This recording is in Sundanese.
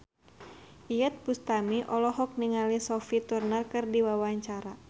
Iyeth Bustami olohok ningali Sophie Turner keur diwawancara